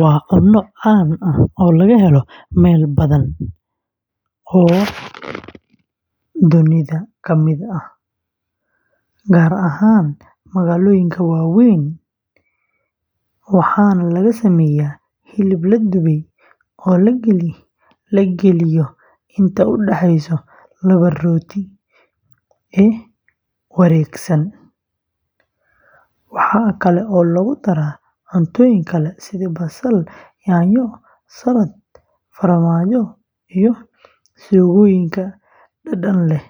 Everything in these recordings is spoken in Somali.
Waa cunno caan ah oo laga helo meelo badan oo dunida ka mid ah, gaar ahaan magaalooyinka waaweyn, waxaana laga sameeyaa hilib la dubay oo la geliyo inta u dhaxaysa laba rooti oo wareegsan. Waxa kale oo lagu daro cuntooyin kale sida basal, yaanyo, salad, farmaajo, iyo suugooyinka dhadhan leh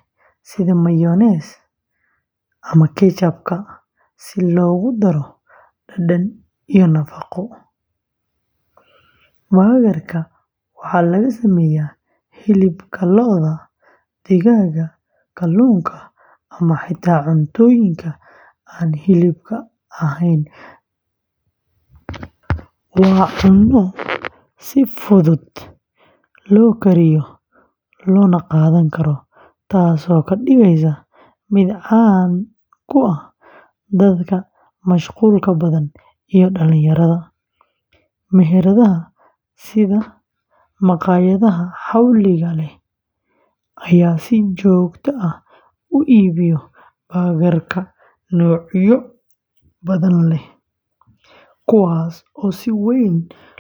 sida mayonnaise ama ketchup-ka si loogu daro dhadhan iyo nafaqo. Burger-ka waxaa laga sameeyaa hilibka lo’da, digaaga, kalluunka, ama xitaa cuntooyinka aan hilibka ahayn sida veggie burger oo laga sameeyo khudaar ama digir. Waa cunno si fudud loo kariyo loona qaadan karo, taasoo ka dhigaysa mid caan ku ah dadka mashquulka badan iyo dhalinyarada. Meheradaha sida makhaayadaha xawliga leh ayaa si joogto ah u iibiyo noocyo badan leh, kuwaas oo si weyn loo kala doorto iyadoo ku xiran dhadhanka qofka.